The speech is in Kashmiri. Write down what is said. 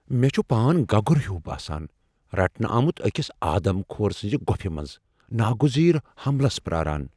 مے٘ چُھ پان گگُر ہیوٗ باسان ، رٹنہٕ آمُت اكِس آدم كھور سنزِ گوفہِ منز ، ناگُزیر حملس پراران ۔